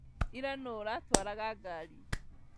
Ira nũ ũratwaraga ngari?